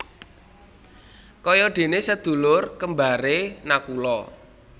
Kaya déné sedulur kembaré Nakula